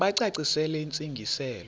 bacacisele intsi ngiselo